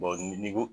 ni ko